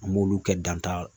An b'olu kɛ danta